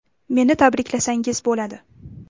Meni tabriklasangiz bo‘ladi.